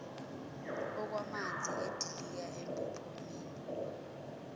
okwamanzi edilika empophomeni